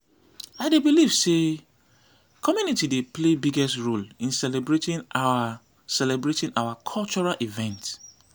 i dey believe say community dey play biggest role in celebrating our celebrating our cultural events.